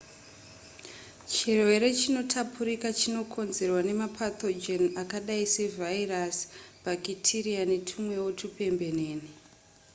chirwere chinotapurika chinokonzerwa nemapathogen akadai sevhairasi bhakitiriya netumwewo tupembenene